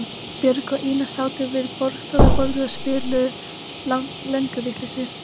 Björg og Ína sátu við borðstofuborðið og spiluðu lönguvitleysu.